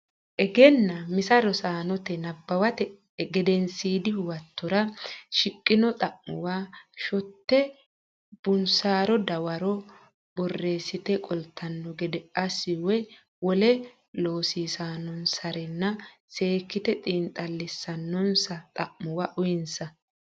Egennaa misa Rosaanote nabbawate gedensiidi huwatora shiqqino xa muwa shotte ba unsaro dawaro borreessite qoltanno gede assi woy wole loosiissannonsarenna seekkite xiinxallissannonsa xa muwa uyinsa.